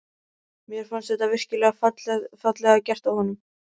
Mér fannst þetta virkilega fallega gert af honum.